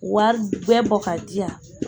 Wari ŋɛ bɔ ka diyan